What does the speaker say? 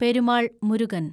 Perumal Murugan